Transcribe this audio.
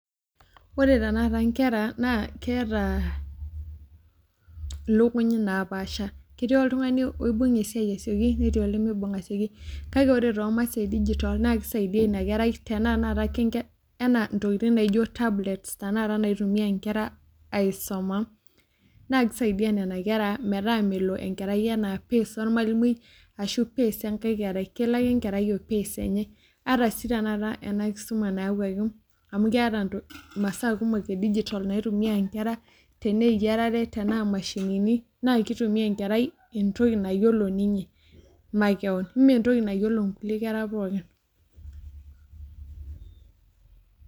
Wore tenakata inkera naa, keeta ilukuny naapaasha. Ketii oltungani oibung esiai asieoki netii olimiibung asieoki. Kake wore too masaa edigitol naa kisaidia ina kerai tenaa , enaa intokitin naijo tablets tenakata naitumiya inkera aisuma, naa kisaidia niana kera metaa melo enkerai enaa pace ormalimui ashu pace enkae kerai. Kelo ake enkerai o pace enye. Ata sii tenakata ena kisuma naawuaki amu keeta imasaa kumok edigitol naitumiya inkera, tena eyiarare, tenaa imashinini, naa kitumia enkerai entoki nayiolo ninye makewon. Mee entoki nayiolo inkulie kera pookin.